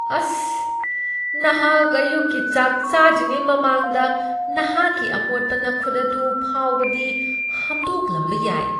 ꯑꯁ! ꯅꯍꯥꯛ ꯑꯌꯨꯛꯀꯤ ꯆꯥꯛ ꯆꯥꯗ꯭ꯔꯤꯉꯩ ꯃꯃꯥꯡꯗ ꯅꯍꯥꯛꯀꯤ ꯑꯃꯣꯠꯄ ꯅꯈꯨꯠ ꯑꯗꯨ ꯐꯥꯎꯕꯗꯤ ꯍꯝꯗꯣꯛꯂꯝꯕ ꯌꯥꯏ꯫